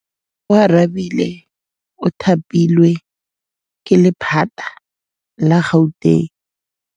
Oarabile o thapilwe ke lephata la Gauteng.